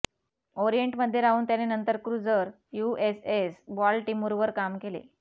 ओरिएंटमध्ये राहून त्याने नंतर क्रूझर यूएसएस बॉलटिमुरवर काम केले